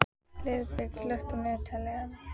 Heiðberg, slökktu á niðurteljaranum.